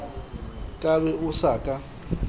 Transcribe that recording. ka be o sa ka